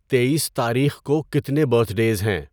تیئیس تاریخ کو کتنے برتھڈیز ہیں؟